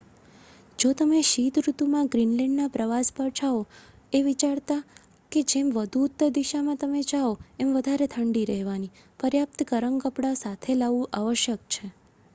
જો તમે શીત ઋતુમાં ગ્રીનલેન્ડના પ્રવાસ પર જાઓ એ વિચારતા કે જેમ વધુ ઉત્તર દિશામાં તમે જાઓ એમ વધારે ઠંડી રહેવાની પર્યાપ્ત ગરમ કપડાં સાથ લાવવું આવશ્યક છે